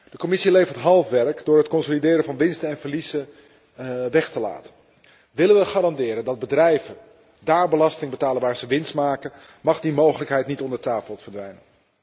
de Commissie levert half werk door het consolideren van winsten en verliezen weg te laten. Willen wij garanderen dat bedrijven daar belasting betalen waar zij winst maken, dan mag die mogelijkheid niet onder tafel verdwijnen.